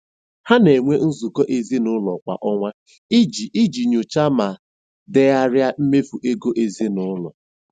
Ha na-enwe nzukọ ezinụlọ kwa ọnwa iji iji nyochaa ma degharịa mmefu ego ezinụlọ.